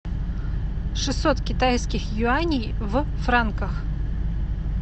шестьсот китайских юаней в франках